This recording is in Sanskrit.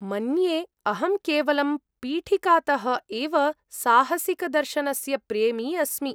मन्ये अहं केवलं पीठिकातः एव साहसिकदर्शनस्य प्रेमी अस्मि!